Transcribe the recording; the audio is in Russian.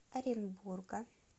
оренбурга